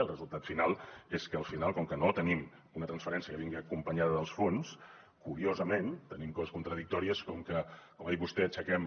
el resultat final és que al final com que no tenim una transferència que vingui acompanyada dels fons curiosament tenim coses contradictòries com que com ha dit vostè aixequem